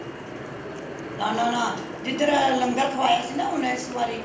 ਨਾ ਨਾ ਨਾ ਜਿਥੇ ਇਹ ਲੰਗਰ ਖੁਆਇਆ ਸੀ ਨਾ ਹੁਣ ਇਸ ਵਾਰੀ